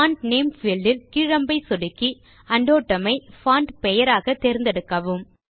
font name field இல் கீழ் அம்பை சொடுக்கி உண்டோட்டும் ஐ பான்ட் பெயராக தேர்ந்தெடுக்கவும்